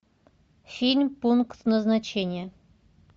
фильм пункт назначения